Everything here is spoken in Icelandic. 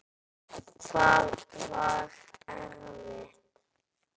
Hvað var erfitt?